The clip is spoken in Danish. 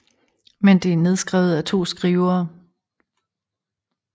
Men det er nedskrevet af to skrivere